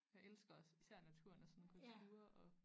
Jeg elsker også især naturen og sådan gå ture og